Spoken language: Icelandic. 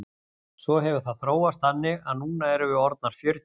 Svo hefur það þróast þannig að núna erum við orðnar fjörutíu.